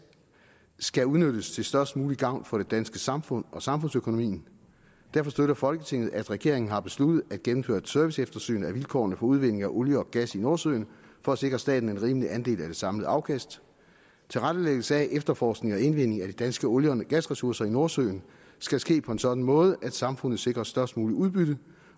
skal udnyttes til størst mulig gavn for det danske samfund og samfundsøkonomien derfor støtter folketinget at regeringen har besluttet at gennemføre et serviceeftersyn af vilkårene for udvinding af olie og gas i nordsøen for at sikre staten en rimelig andel af det samlede afkast tilrettelæggelse af efterforskning og indvinding af de danske olie og gasressourcer i nordsøen skal ske på en sådan måde at samfundet sikres størst muligt udbytte